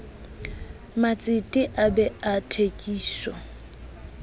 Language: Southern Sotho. matsete a bee a thekiso